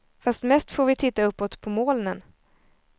Fast mest får vi titta uppåt på molnen.